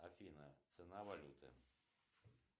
афина цена валюты